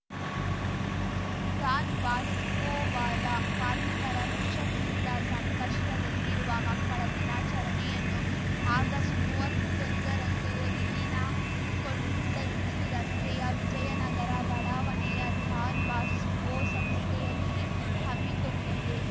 Don Bosco ಬಾಲ ಕಾರ್ಮಿಕರ ಮಿಷನ್‌ನಿಂದ ಸಂಕಷ್ಟದಲ್ಲಿರುವ ಮಕ್ಕಳ ದಿನಾಚರಣೆಯನ್ನು ಆಗಸ್ಟ್ಮೂವತ್ತೊಂದರಂದು ಇಲ್ಲಿನ ಕೊಂಡಜ್ಜಿ ರಸ್ತೆಯ ವಿಜಯ ನಗರ ಬಡಾವಣೆಯ ಡಾನ್‌ ಬಾಸ್ಕೋ ಸಂಸ್ಥೆಯಲ್ಲಿ ಹಮ್ಮಿಕೊಂಡಿದೆ